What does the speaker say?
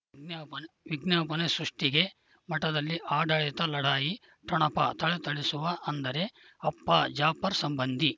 ವಿಜ್ಞಾಪನೆ ಸೃಷ್ಟಿಗೆ ಮಠದಲ್ಲಿ ಆಡಳಿತ ಲಢಾಯಿ ಠೊಣಪ ಥಳಥಳಿಸುವ ಅಂದರೆ ಅಪ್ಪ ಜಾಫರ್ ಸಂಬಂಧಿ